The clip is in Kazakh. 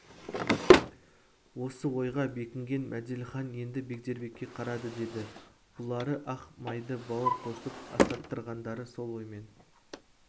осы ойға бекінген мәделіхан енді бегдербекке қарады деді бұлары ақ майды бауыр қосып асаттырғандары сол оймен